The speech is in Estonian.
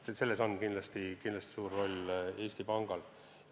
Ja minu meelest on selles kindlasti suur roll Eesti Pangal.